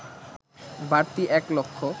বাড়তি এক লক্ষ